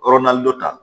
dɔ ta